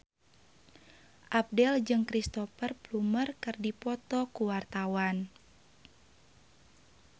Abdel jeung Cristhoper Plumer keur dipoto ku wartawan